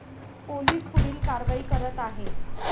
Police पुढील कारवाई करत आहे.